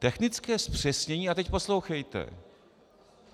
Technické zpřesnění - a teď poslouchejte.